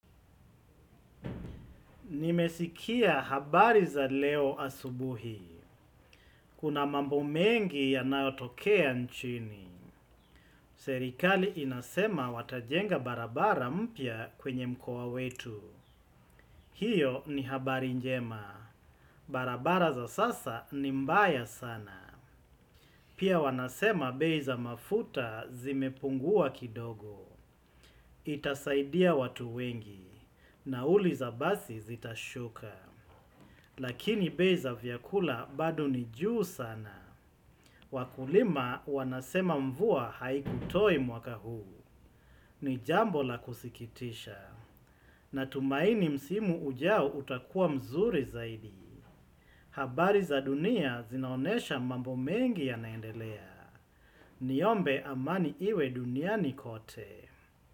Nimesikia habari za leo asubuhi. Kuna mambo mengi yanayotokea nchini. Serikali inasema watajenga barabara mpya kwenye mkoa wetu. Hiyo ni habari njema. Barabara za sasa ni mbaya sana. Pia wanasema bei za mafuta zimepungua kidogo. Itasaidia watu wengi. Nauli za basi zitashuka. Lakini bei za vyakula bado ni juu sana. Wakulima wanasema mvua haikutoi mwaka huu. Ni jambo la kusikitisha. Natumaini msimu ujao utakuwa mzuri zaidi. Habari za dunia zinaonesha mambo mengi yanaendelea. Niombe amani iwe duniani kote.